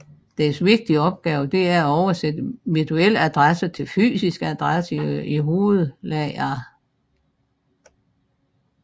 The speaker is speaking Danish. Dens vigtigste opgave er at oversætte virtuelle adresser til fysiske adresser i hovedlageret